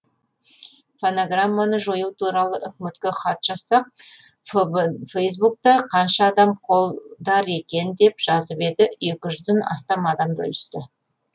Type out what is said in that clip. фонограмманы жою туралы үкіметке хат жазсақ фейсбукта қанша адам қолдар екен деп жазып еді екі жүзден астам адам бөлісті